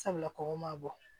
Sabula kɔnkɔ ma bɔ